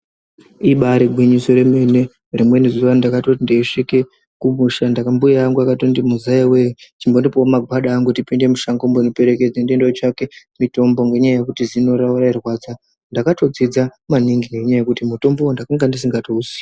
Ibari gwinyiso remene rimweni zuwa ndakatoti ndeisvika kumusha mbuya angu akatoti muzayawee chimbondopewo mgwada angu tipinde mushango undiperekedze ndotsvake mitombo ngendaa yekuti zino rawo rairwadza ndakatofunda maningi ngendaa yekuti mutombowo ndanga ndisingatouziyi.